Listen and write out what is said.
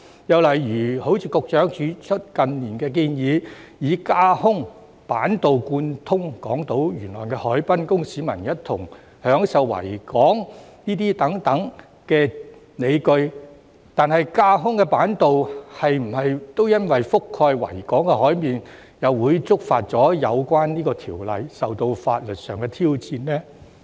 又例如局長指出，近年有建議以架空板道貫通港島沿岸海濱，供市民一同享受維港等，但架空板道覆蓋維港海面，又會否觸犯有關條例而受到法律挑戰呢？